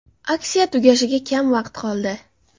Aksiya tugashiga kam vaqt qoldi.